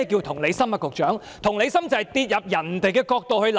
同理心是代入別人的角度來考慮。